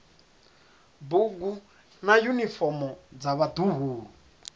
bugu na yunifomo dza vhaḓuhulu